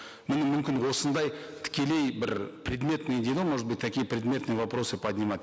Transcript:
міне мүмкін осындай тікелей бір предметный дейді ғой может быть такие предметные вопросы поднимать